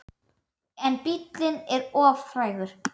En bíllinn er of frægur.